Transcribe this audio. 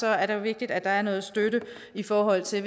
er det jo vigtigt at der er noget støtte i forhold til